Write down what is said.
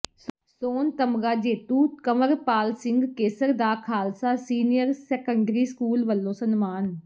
ਸੋਨ ਤਗਮਾ ਜੇਤੂ ਕੰਵਰਪਾਲ ਸਿੰਘ ਕੇਸਰ ਦਾ ਖਾਲਸਾ ਸੀਨੀਅਰ ਸੈਕੰਡਰੀ ਸਕੂਲ ਵੱਲੋਂ ਸਨਮਾਨ